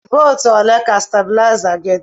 Volt ole ka stabuliza gi di?